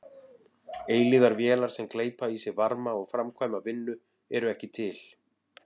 Eilífðarvélar sem gleypa í sig varma og framkvæma vinnu eru ekki til.